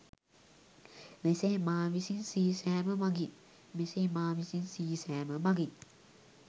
මෙසේ මා විසින් සීසෑම මගින්